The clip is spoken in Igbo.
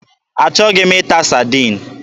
Achọghị m ịta Sadin.